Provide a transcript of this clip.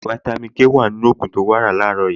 Fáítámì Ké wà nínú ògùn tí o lò láàárọ̀ yìí